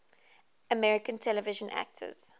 american television actors